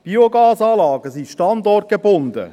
Biogasanlagen sind standortgebunden.